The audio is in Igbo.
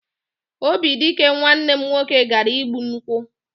Obidike nwanne m nwoke gara igbu nkwụ.